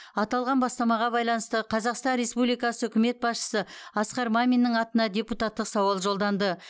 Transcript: аталған бастамаға байланысты қазақстан республикасы үкімет басшысы асқар маминнің атына депутаттық сауал жолданды